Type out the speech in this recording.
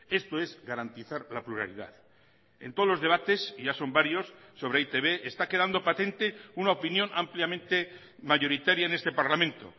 esto es garantizar la pluralidad en todos los debates y ya son varios sobre e i te be está quedando patente una opinión ampliamente mayoritaria en este parlamento